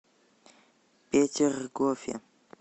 петергофе